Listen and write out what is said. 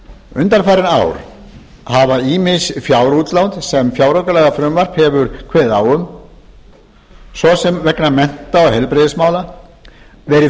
undanfarin ár hafa ýmis fjárútlát sem fjáraukalagafrumvarp hefur kveðið á um svo sem vegna mennta og heilbrigðismála verið